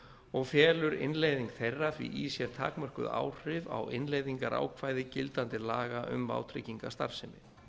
og felur innleiðing þeirra því í sér takmörkuð áhrif á innleiðingarákvæði gildandi laga um vátryggingastarfsemi